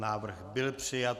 Návrh byl přijat.